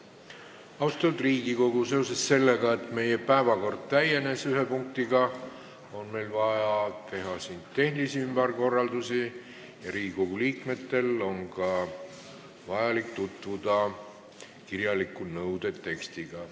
Austatud Riigikogu, seetõttu, et meie päevakord on ühe punktiga täienenud, on meil vaja teha tehnilisi ümberkorraldusi ja Riigikogu liikmetel on vaja tutvuda kirjaliku nõude tekstiga.